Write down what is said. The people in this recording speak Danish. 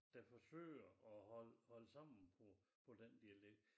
Der forsøger at holde holde sammen på på den dialekt